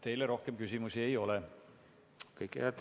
Teile rohkem küsimusi ei ole.